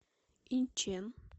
инчэн